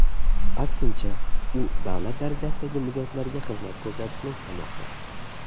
Aksincha, u davlat darajasidagi mijozlarga xizmat ko‘rsatishni istamoqda.